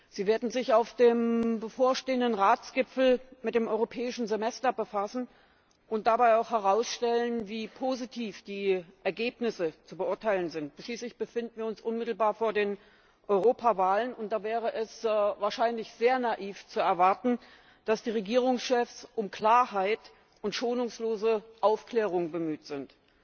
Sie werden sich auf dem bevorstehenden Ratsgipfel mit dem Europäischen Semester befassen und dabei auch herausstellen, wie positiv die Ergebnisse zu beurteilen sind. Schließlich befinden wir uns unmittelbar vor den Europawahlen und da wäre es wahrscheinlich sehr naiv, zu erwarten, dass die Regierungschefs um Klarheit und schonungslose Aufklärung bemüht sind.